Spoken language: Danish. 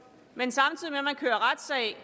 men samtidig med at man kører retssag